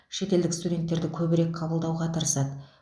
шетелдік студенттерді көбірек қабылдауға тырысады